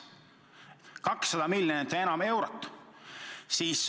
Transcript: Eraldatud on 200 miljonit ja enamgi eurot.